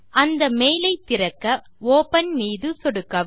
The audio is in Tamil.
அந்த மெயில் ஐ திறக்க ஒப்பன் மீது சொடுக்கவும்